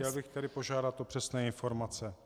Chtěl bych tedy požádat o přesné informace.